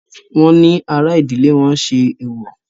Wọ́n ní ará ìdílé wọn ṣe èwọ̀.